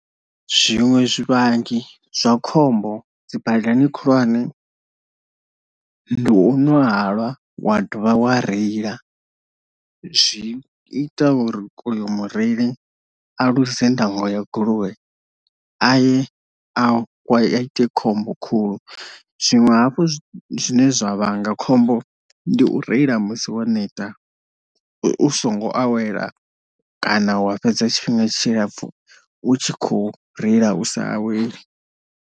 Zwiṅwe zwivhangi zwa khombo dzi badani khulwane ndi u ṅwa halwa wa dovha wa reila zwi ita uri uyo mureili a ḽuze ndango ya goloi aye a ite khombo khulu, zwinwe hafhu zwine zwa vhanga khombo ndi u reila musi wo neta u songo awela kana wa fhedza tshifhinga tshilapfu u tshi kho reila u sa aweli.